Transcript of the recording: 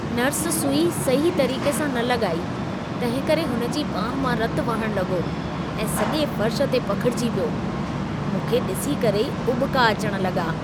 Nurse सुई सही तरीक़े सा न लॻाई, तंहिं करे हुनजी ॿांहु मां रतु वहण लॻो ऐं सॼे फर्श ते पखिड़िजी पियो। मूं खे ॾिसी करे ई उॿिका अचण लॻा।